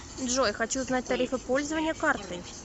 джой хочу узнать тарифы пользования картой